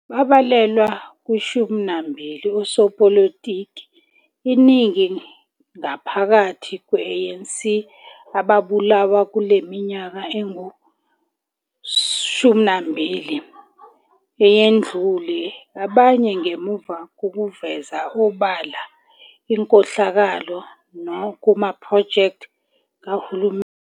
Babalelwa ku 20 osopolitiki, iningi ngaphakathi kwe A. N.C., ababulawa kuleminyaka engu20 eyendlule, abanye ngemuva kokuveza obala inkohlakalo kuma projects kahulumeni".